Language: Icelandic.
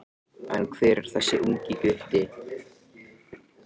En hver er þessi ungi gutti?